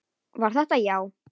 Var þetta já?